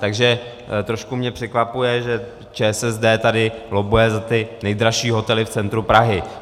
Takže trošku mě překvapuje, že ČSSD tady lobbuje za ty nejdražší hotely v centru Prahy.